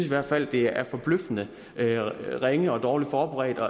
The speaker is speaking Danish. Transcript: i hvert fald det er forbløffende ringe og dårligt forberedt og